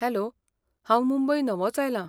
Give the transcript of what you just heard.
Hello, हांव मुंबय नवोच आयलां.